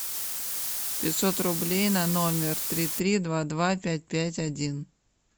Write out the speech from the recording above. пятьсот рублей на номер три три два два пять пять один